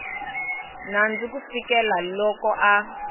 nandzu ku fikela loko a